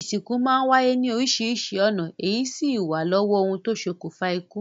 Ìsìnkú máa ń wáyé ní oríṣiríṣi ọ̀nà èyí sì w lọ́wọ́ ohun tó ṣokùnfà ikú.